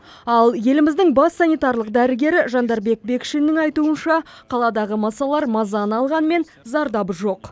ал еліміздің бас санитарлық дәрігері жандарбек бекшиннің айтуынша қаладағы масалар мазаны алғанымен зардабы жоқ